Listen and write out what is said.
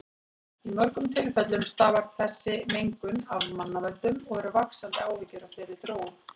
Í mörgum tilfellum stafar þessi mengun af mannavöldum og eru vaxandi áhyggjur af þeirri þróun.